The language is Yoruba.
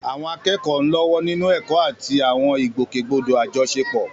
Àwọn akẹ́kọ̀ọ́ ń lọ́wọ́ nínú ẹ̀kọ́ àti àwọn ìgbòkègbodò àjọṣepọ̀.